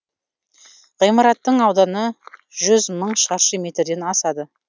ғимараттың ауданы жүз мың шаршы метрден асады